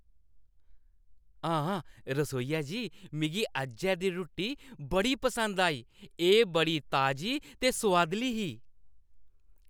हां, रसोइया जी, मिगी अज्जै दी रुट्टी बड़ी पसंद आई। एह् बड़ी ताजी ते सुआदली ही।